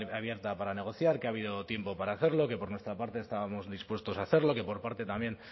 abierta para negociar que ha habido tiempo para hacerlo que por nuestra parte estábamos dispuestos a hacerlo que por parte también